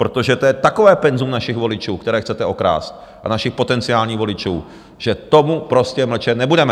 Protože to je takové penzum našich voličů, které chcete okrást, našich potenciálních voličů, že k tomu prostě mlčet nebudeme.